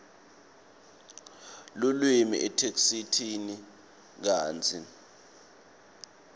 lulwimi etheksthini kantsi